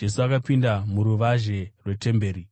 Jesu akapinda muruvazhe rwetemberi,